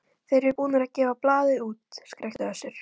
Þeir eru búnir að gefa blaðið út, skrækti Össur.